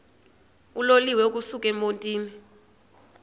uloliwe ukusuk emontini